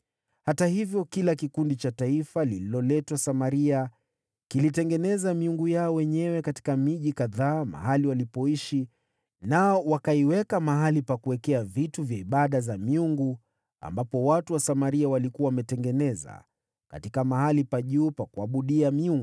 Hata hivyo, kila kikundi cha taifa lililoletwa Samaria kilitengeneza miungu yao wenyewe katika miji kadhaa mahali walipoishi, nao wakaiweka mahali pa ibada za miungu ambapo watu wa Samaria walikuwa wametengeneza katika mahali pa juu.